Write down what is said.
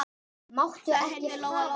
Þá heyrði Lóa-Lóa öskrin.